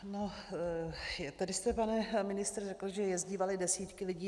No, tady jste, pane ministře, řekl, že jezdívaly desítky lidí.